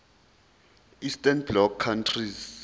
eastern bloc countries